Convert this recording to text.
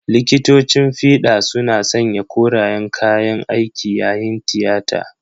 Likitocin fida suna sanya korayen kayan aiki yayin tiyata.